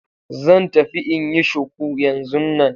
Zan tafi in yi shuku yanzun nan.